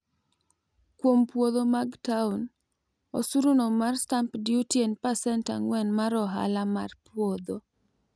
kuom puodho mag town osuru no mar stamp duty en pasent ang'wen mar ohala mar puodho